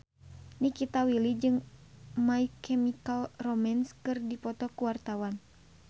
Nikita Willy jeung My Chemical Romance keur dipoto ku wartawan